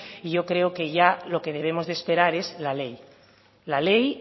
y yo creo que ya lo que debemos de esperar es la ley la ley